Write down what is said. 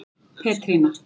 Petrína